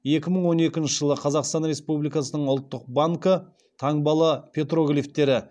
екі мың он екінші жылы қазақстан республикасының ұлттық банкі таңбалы петроглифтері